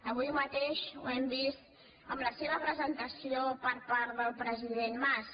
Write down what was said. avui mateix ho hem vist amb la seva presentació per part del president mas